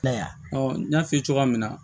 I y'a ye n y'a f'i ye cogoya min na